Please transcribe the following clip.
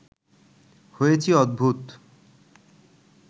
হয়েছি অদ্ভুত